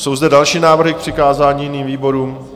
Jsou zde další návrhy k přikázání jiným výborům?